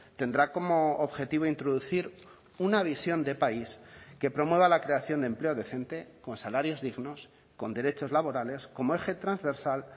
tendrá como objetivo introducir una visión de país que promueva la creación de empleo decente con salarios dignos con derechos laborales como eje transversal